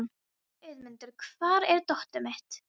Auðmundur, hvar er dótið mitt?